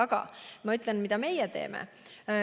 Aga ma ütlen, mida meie teeme.